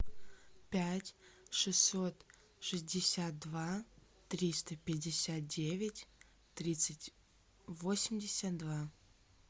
пять шестьсот шестьдесят два триста пятьдесят девять тридцать восемьдесят два